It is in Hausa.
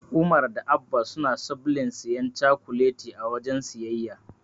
Umar da Abba suna sobln siyan cakuleti a wajen siyayya.